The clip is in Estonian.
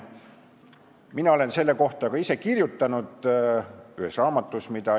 Mina olen selle kohta ka ise ühes raamatus kirjutanud.